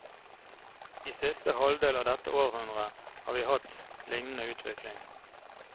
I siste halvdel av dette århundre har vi hatt lignende utvikling.